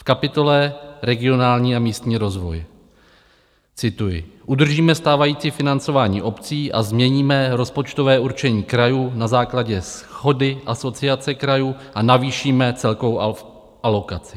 V kapitole regionální a místní rozvoj, cituji: "Udržíme stávající financování obcí a změníme rozpočtové určení krajů na základě shody Asociace krajů a navýšíme celkovou alokaci."